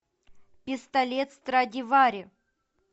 пистолет страдивари